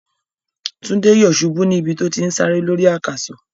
Túndé yòsubú ní ibi tó ti n sáré lórí àkàsò.